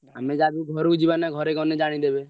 ଆମେ ଯାହାବି ହଉ ଘରୁକୁ ଯିବାନା ଘରେ ଗଲେ ଜାଣିଦେବେ।